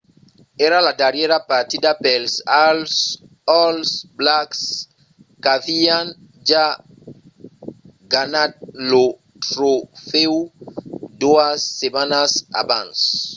èra la darrièra partida pels all blacks qu'avián ja ganhat lo trofèu doas setmanas abans